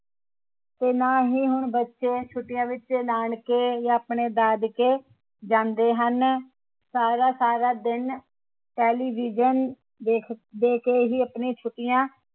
ਤੇ ਨਾ ਹੀ ਹੁਣ ਬੱਚੇ ਛੁੱਟੀਆਂ ਵਿਚ ਨਾਨਕੇ ਜਾ ਆਪਣੇ ਦਾਦਕੇ ਜਾਂਦੇ ਹਨ ਸਾਰਾ ਸਾਰਾ ਦਿਨ television ਦੇਖ ਦੇ ਕੇ ਹੀ ਆਪਣੀ ਛੁੱਟੀਆਂ